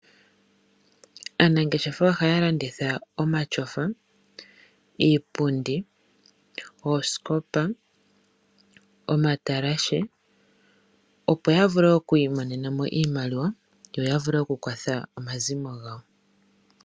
Aanangeshefa ohaya landitha omatyofa, iipundi, oosikopa, omatalashe, opo ya vule oku imonena mo iimaliwa, ya vule okukwatha omazimo gawo.